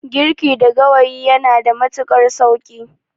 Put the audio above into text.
Girki da gawayi yanada matuƙar sauƙi.